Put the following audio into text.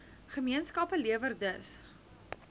gemeenskappe lewer dus